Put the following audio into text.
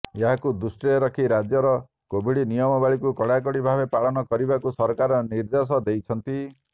ଏହାକୁ ଦୃଷ୍ଟିରେ ରଖି ରାଜ୍ୟରେ କୋଭିଡ ନିୟମାବଳୀକୁ କଡାକଡି ଭାବେ ପାଳନ କରିବାକୁ ସରକାର ନିର୍ଦ୍ଦେଶ ଦେଇଛନ୍ତି